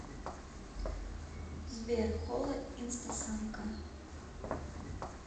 сбер хола инстасамка